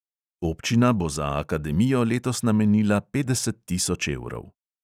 Občina bo za akademijo letos namenila petdeset tisoč evrov.